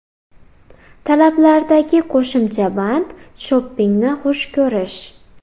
Talablardagi qo‘shimcha band shopingni xush ko‘rish.